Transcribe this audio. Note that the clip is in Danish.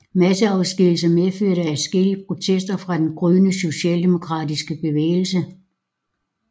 Masseafskedigelsen medførte adskillige protester fra den gryende socialdemokratiske bevægelse